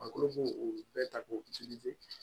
A kolo ko o bɛɛ ta ko